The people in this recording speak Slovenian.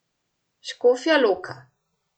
Škofja Loka.